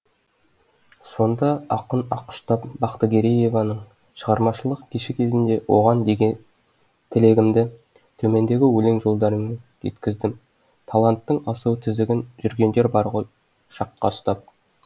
сонда ақын аққұштап бақтыгерееваның шығармашылық кеші кезінде оған деген тілегімді төмендегі өлең жолдарымен жеткіздім таланттың асау тізгінін жүргендер бар ғой шаққа ұстап